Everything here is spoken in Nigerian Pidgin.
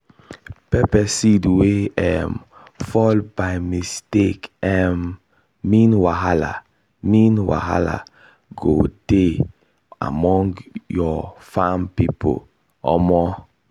pepper seed wey um fall by mistake um mean wahala mean wahala go dey among your farm people omo